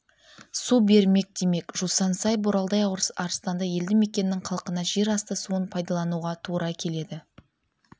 су бермек демек жусансай боралдай арыстанды елді мекенінің халқына жер асты суын пайдалануға тура келеді